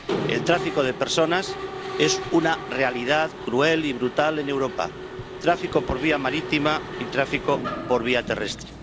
El tráfico de personas es una realidad cruel y brutal en Europa tráfico por vía marítima y tráfico por vía terrestre.